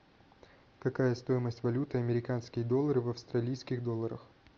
какая стоимость валюты американские доллары в австралийских долларах